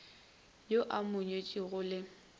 yo a mo nyetšego le